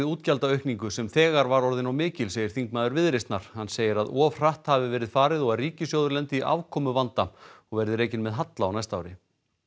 útgjaldaaukningu sem þegar var orðin of mikil segir þingmaður Viðreisnar hann segir að of hratt hafi verið farið og að ríkissjóður lendi í og verði rekinn með halla á næsta ári